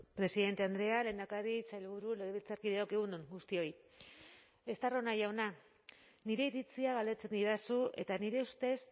presidente andrea lehendakari sailburu legebiltzarkideok egun on guztioi estarrona jauna nire iritzia galdetzen didazu eta nire ustez